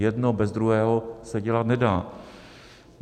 Jedno bez druhého se dělat nedá.